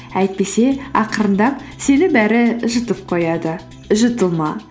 әйтпесе ақырындап сені бәрі жұтып қояды жұтылма